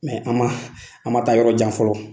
Mɛ an ma, an ma taa yɔrɔ jan fɔlɔ.